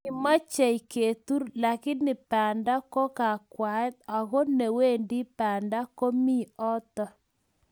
Kimochei ketur lakini banda ko kakwaet ago newendi banda komi oto